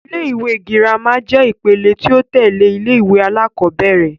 Ilé-ìwé girama jẹ́ ìpele ti o tẹ́lẹ̀ ilé-ìwé alakọ̀bẹ́ẹ́rẹ̀